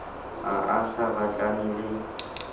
ha a sa batlane le